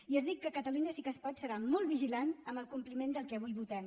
i els dic que catalunya sí que es pot serà molt vigilant amb el compliment del que avui votem